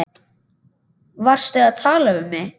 Varstu að tala við mig?